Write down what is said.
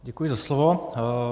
Děkuji za slovo.